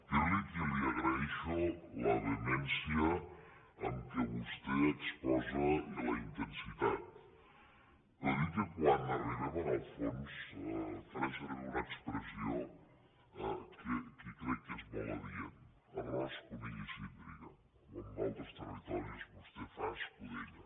dir li que li agraeixo la vehemència amb què vostè exposa i la intensitat però dir que quan arribem en el fons faré servir una expressió que crec que és molt adient ar ròs conill i síndria o en altres territoris vostè fa escudella